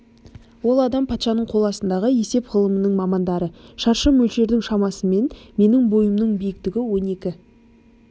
ол адам патшаның қол астындағы есеп ғылымының мамандары шаршы мөлшердің шамасымен менің бойымның биіктігі он екі